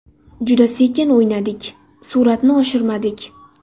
Juda sekin o‘ynadik, sur’atni oshirmadik.